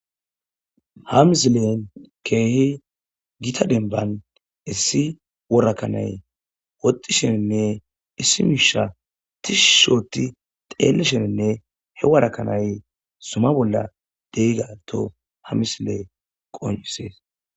ha misilelen keehi gita denban issi wora kanay woxxi sheninne issi miisha tishi othi xeelesheninne he wara kanay zuma bolla de'iga ha misiley qoncisees